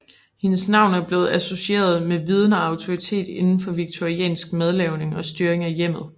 Hendes navn er blevet associeret med viden og autoritet inden for victoriansk madlavning og styring af hjemmet